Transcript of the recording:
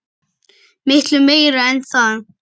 Miklu meira en það.